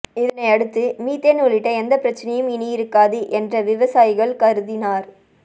இதனை அடுத்து மீத்தேன் உள்ளிட்ட எந்த பிரச்சினையும் இனி இருக்காது என்ற விவசாயிகள் கருதினார்